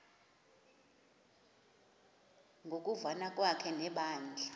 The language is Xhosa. ngokuvana kwakhe nebandla